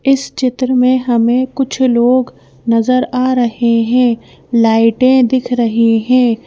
इस चित्र में हमें कुछ लोग नजर आ रहे हैं लाइटें दिख रही हैं।